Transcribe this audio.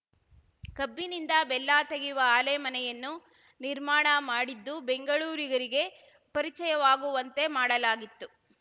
ಕಬ್ಬಿನಿಂದ ಬೆಲ್ಲ ತೆಗೆಯುವ ಆಲೆಮನೆಯನ್ನು ನಿರ್ಮಾಣ ಮಾಡಿದ್ದು ಬೆಂಗಳೂರಿಗರಿಗೆ ಪರಿಚಯವಾಗುವಂತೆ ಮಾಡಲಾಗಿತ್ತು